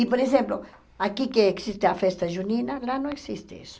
E, por exemplo, aqui que existe a festa junina, lá não existe isso.